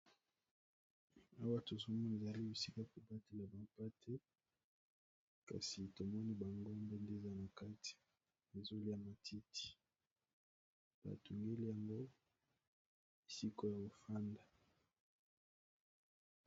Awa tozomona ezali bisika ko batela ba mpate, kasi tomoni ba ngombe nde eza na kati ezo lia matiti ba tungeli yango esika ya ko fanda.